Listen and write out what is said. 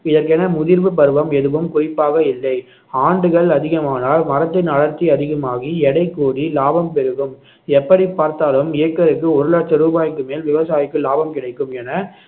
இதற்கென முதிர்வு பருவம் எதுவும் குறிப்பாக இல்லை ஆண்டுகள் அதிகமானால் மரத்தின் வளர்ச்சி அதிகமாகி எடை கூடி லாபம் பெருகும் எப்படி பார்த்தாலும் ஏக்கருக்கு ஒரு லட்ச ரூபாய்க்கு மேல் விவசாயிக்கு லாபம் கிடைக்கும் என